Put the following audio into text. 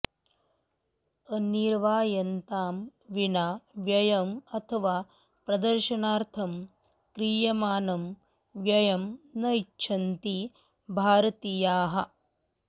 अनिवार्यतां विना व्ययम् अथवा प्रदर्शनार्थं क्रियमाणं व्ययं न इच्छन्ति भारतीयाः